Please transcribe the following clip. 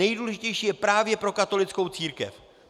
Nejdůležitější je právě pro katolickou církev.